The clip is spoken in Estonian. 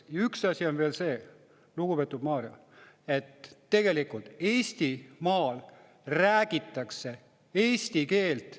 Ja üks asi on veel see, lugupeetud Mario, et tegelikult Eestimaal räägitakse eesti keelt.